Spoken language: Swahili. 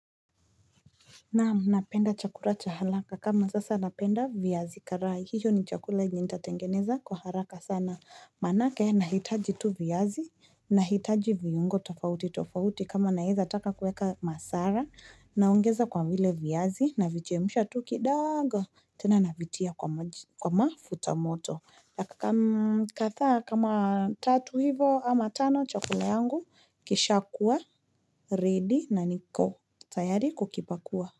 Naam, ninapenda chakula cha haraka. Kama sasa ninapenda viazi karai. Hicho ni chakula yenye nitatengeneza kwa haraka sana. Maana yake, ninahitaji tu viazi, ninahitaji viungo tofautitofauti. Kama ninaweza taka kuweka masala. Ninaongeza kwa vile viazi. Ninavichemsha tu kidogo. Tena nina vitia kwa maji kwa mafuta ya moto. Dakika, kadhaa kama tatu hivo ama tano chakula yangu. Kishakuwa ready na nikotayari kukipakua.